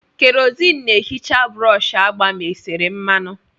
Kerosene na-ehicha brọsh agba ma e sere mmanụ.